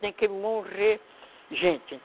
Tem que morrer gente.